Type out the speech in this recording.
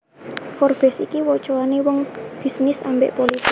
Forbes iki wocoane wong wong bisnis ambek politik